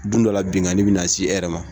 Dun dɔla binkanni bena si e yɛrɛ ma